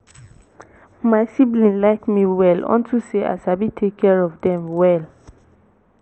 my siblings like me well unto say i sabi take care of dem well